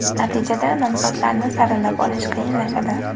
Natijada, nomzodlarni saralab olish qiyinlashadi.